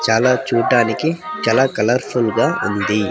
చాలా చూడానికి చాలా కలర్ ఫుల్ గా ఉంది.